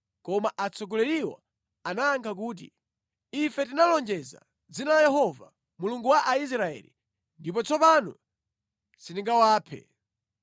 Koma atsogoleriwo anayankha kuti, “Ife tinawalonjeza mʼdzina la Yehova, Mulungu wa Israeli, ndipo tsopano sitingawaphe.